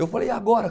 Eu falei, e agora?